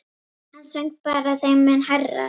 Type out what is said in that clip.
Hann söng bara þeim mun hærra.